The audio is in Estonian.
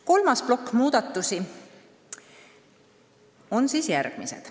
Kolmas plokk muudatusi on järgmised.